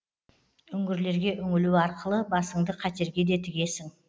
үңгірлерге үңілу арқылы басыңды қатерге де тігесің